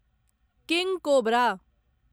किंग cobra